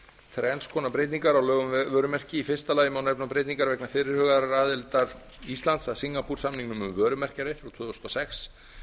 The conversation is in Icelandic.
þrenns konar breytingar á lögum um vörumerki í fyrsta lagi má nefna breytingar vegna fyrirhugaðrar aðildar íslands að singapoore samningnum um vörumerki frá tvö þúsund og sex